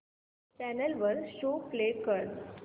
channel वर show play कर